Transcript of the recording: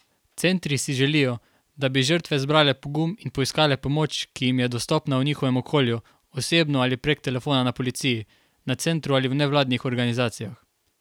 Centri si želijo, da bi žrtve zbrale pogum in poiskale pomoč, ki jim je dostopna v njihovem okolju osebno ali prek telefona na policiji, na centru ali v nevladnih organizacijah.